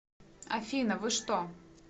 афина вы что